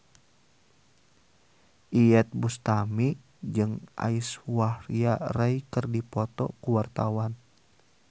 Iyeth Bustami jeung Aishwarya Rai keur dipoto ku wartawan